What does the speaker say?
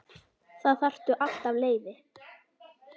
Þá þarftu alltaf leyfi.